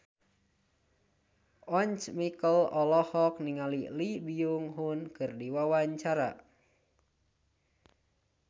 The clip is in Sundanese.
Once Mekel olohok ningali Lee Byung Hun keur diwawancara